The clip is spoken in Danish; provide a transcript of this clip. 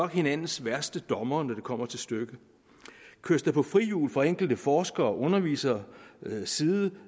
hinandens værste dommere når det kommer til stykket køres der på frihjul for enkelte forskere og underviseres side